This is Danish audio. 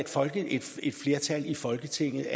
et flertal i folketinget